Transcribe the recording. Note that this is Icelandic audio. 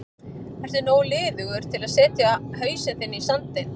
Ertu nógu liðugur til að setja hausinn þinn í sandinn?